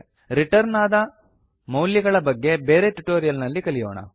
return ಆದ ಮೌಲ್ಯಗಳ ಬಗ್ಗೆ ಬೇರೆ ಟ್ಯುಟೋರಿಯಲ್ ನಲ್ಲಿ ಕಲಿಯೋಣ